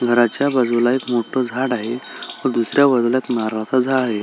घराच्या बाजूला एक मोठ झाड आहे व दुसऱ्या बाजूला एक नारळाच झाड आहे.